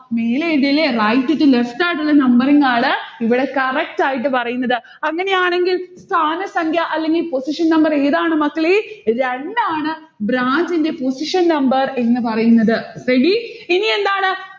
മേലേത് ല്ലേ. right to left ആയിട്ടുള്ള numbering ആണ് ഇവിടെ correct ആയിട്ട്പറയുന്നത്. അങ്ങനെയാണെങ്കിൽ സ്ഥാനസംഖ്യ അല്ലെങ്കിൽ position number ഏതാണ് മക്കളെ. രണ്ടാണ് branch ന്റെ position number എന്ന് പറയുന്നത് ready? ഇനിയെന്താണ്.